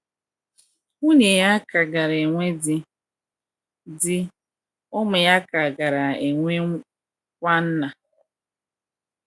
Nwunye ya ka gaara enwe di; di; ụmụ ya ka gaara enwe kwa nna.